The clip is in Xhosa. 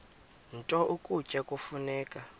nto ukutya kufuneka